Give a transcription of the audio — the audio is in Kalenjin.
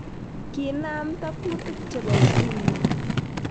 Kiinamta kuutik chebo ukimw